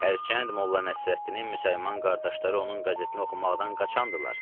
Hərçənd Molla Nəsrəddinin müsəlman qardaşları onun qəzetini oxumaqdan qaçandırlar.